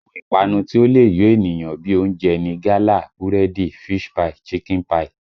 Àwọn ìpanu tí ó le yo ènìyàn bí i oúnjẹ ni gálà, búrẹ́dì, fish pie, chicken pie